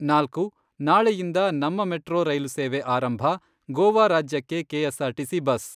ನಾಲ್ಕು. ನಾಳೆಯಿಂದ ನಮ್ಮ ಮೆಟ್ರೊ ರೈಲು ಸೇವೆ ಆರಂಭ , ಗೋವಾ ರಾಜ್ಯಕ್ಕೆ ಕೆಎಸ್ಆರ್ಟಿಸಿ ಬಸ್.